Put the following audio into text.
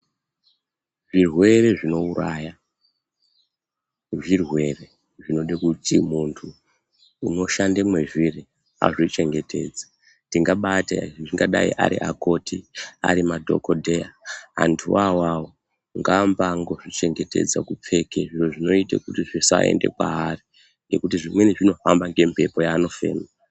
Zvirwere zvinouraya zvirwere zvinoda kuti muntu unoshande mazviri azvichengeredze tingabati angadai ari mukoti, angadai ari madhokoteya antuwo iwayo ngahambe akazvichengetedza kupfeka zvinoita kuti zvisaenda kwaari ngekuti zvimweni zvinofamba ngemhepo yavanofema.